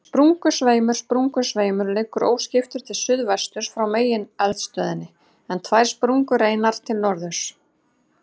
Sprungusveimur Sprungusveimur liggur óskiptur til suðsuðvesturs frá megineldstöðinni, en tvær sprungureinar til norðurs.